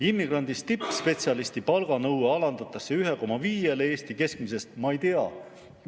Immigrandist tippspetsialisti palganõue alandatakse 1,5‑le Eesti keskmisele.